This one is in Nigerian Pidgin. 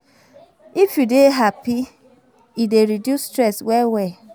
If you dey happy, e dey reduce stress well well